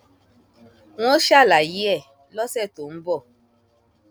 n óò ṣàlàyé ẹ lọsẹ tó ń ń bọ